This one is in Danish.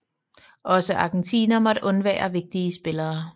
Også Argentina måtte undvære vigtige spillere